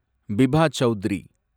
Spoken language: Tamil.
பிபா சவுதுரி